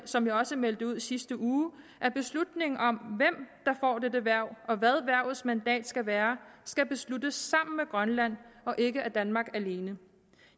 som jeg også meldte ud i sidste uge at beslutningen om hvem der får dette hverv og hvad hvervets mandat skal være skal besluttes sammen med grønland og ikke af danmark alene